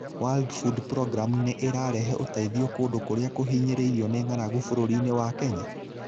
World Food Programme nĩ ũrahe ũteithio kũndũ kũrĩa kũhinyĩrĩirio nĩ ng'aragu bũrũri-inĩ wa Kenya?